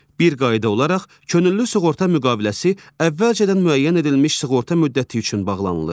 Bir qayda olaraq könüllü sığorta müqaviləsi əvvəlcədən müəyyən edilmiş sığorta müddəti üçün bağlanılır.